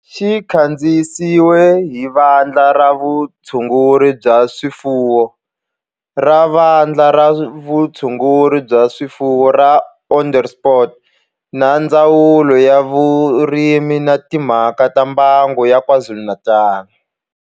Xi kandziyisiwe hi Vandla ra Vutshunguri bya swifuwo ra Vandla ra Vutshunguri bya swifuwo ra Onderstepoort na Ndzawulo ya Vurimi na Timhaka ta Mbango ya KwaZulu-Natal.